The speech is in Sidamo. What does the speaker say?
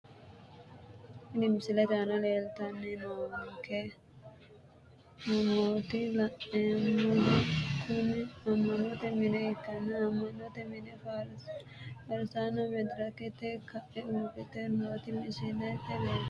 Tini misilete aana leeltani noonke manooti la`neemohu kuni ama`note mine ikanna ama`note mine farsasine faarsitara medirikete ka`e uurite nooti misilete leeltano.